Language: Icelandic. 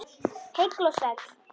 Heill og sæll!